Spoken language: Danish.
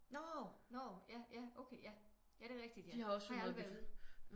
Nårh nårh ja ja okay ja ja det er rigtigt ja. Der har jeg aldrig været ude